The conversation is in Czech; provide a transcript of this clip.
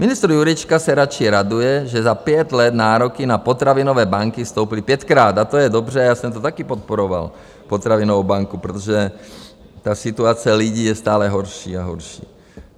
Ministr Jurečka se radši raduje, že za pět let nároky na potravinové banky stouply pětkrát, a to je dobře, já jsem to také podporoval, potravinovou banku, protože ta situace lidí je stále horší a horší.